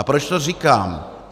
A proč to říkám?